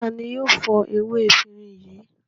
Ta ni yóò fọ ewé efirin yìí?